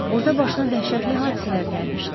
Orda başına dəhşətli hadisələr gəlmişdi.